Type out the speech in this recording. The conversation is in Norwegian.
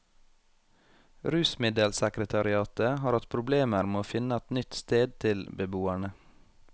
Rusmiddelsekretariatet har hatt problemer med å finne et nytt sted til beboerne.